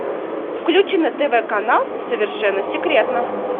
включи на тв канал совершенно секретно